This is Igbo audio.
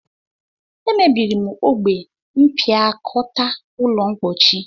E mebiri m ogbe mpiakota ulo mpochi